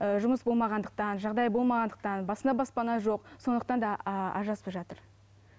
ііі жұмыс болмағандықтан жағдай болмағандықтан басына баспана жоқ сондықтан да ажырасып жатыр